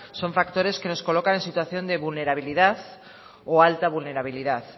son factores que nos colocan en situación de vulnerabilidad o alta vulnerabilidad